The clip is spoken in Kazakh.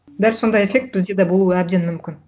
дәл сондай эффект бізде да болуы әбден мүмкін